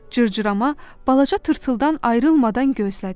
Cırcırama balaca tırtıldan ayrılmadan gözlədi.